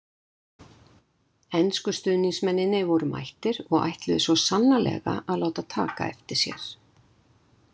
Ensku stuðningsmennirnir voru mættir og ætluðu svo sannarlega að láta taka eftir sér.